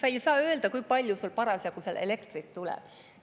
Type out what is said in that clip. Ei saa öelda, kui palju sealt parasjagu elektrit tuleb.